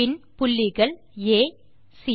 பின் புள்ளிகள் ஆ சி